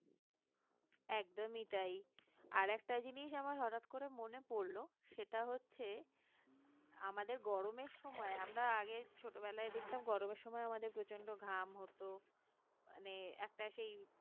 একদমই তাই আর একটা জিনিস আমার হঠাৎ করে মনে পড়ল সেটা হচ্ছে আমাদের গরমের সময় আমরা আগে ছোটবেলায় দেখতাম গরমের সময় আমাদের প্রচন্ড ঘাম হতো মানে একটা সেই